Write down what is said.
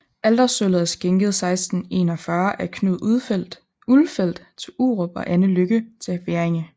Altersølvet er skænket 1641 af Knud Ulfeld til Urup og Anne Lykke til Hverringe